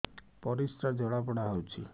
ପରିସ୍ରା ଜଳାପୋଡା ହଉଛି